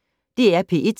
DR P1